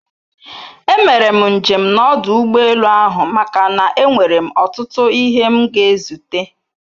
E mere njem na ọdụ ụgbọ elu ahụ maka na-enwere m otutu ihe m ga ezute